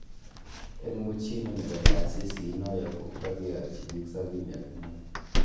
Eng muchinu nebo taasiisi inoyo ko kakeyatyi biik sabini ak muut